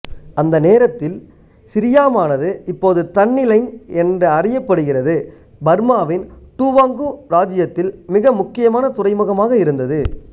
அந்த நேரத்தில் சிரியாமானது இப்போது தன்லினைன் என அறியப்படுகிறது பர்மாவின் டூவாங்கூ இராச்சியத்தில் மிக முக்கியமான துறைமுகமாக இருந்தது